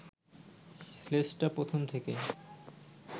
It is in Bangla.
শ্লেষটা প্রথম থেকে